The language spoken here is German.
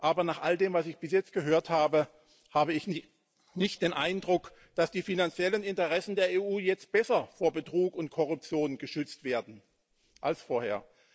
Aber nach all dem, was ich bis jetzt gehört habe, habe ich nicht den Eindruck, dass die finanziellen Interessen der EU jetzt besser vor Betrug und Korruption geschützt werden als vorher.